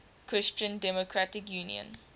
christian democratic union